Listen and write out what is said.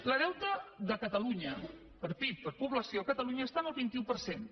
el deute de catalunya per pib per població a catalunya està en el vint un per cent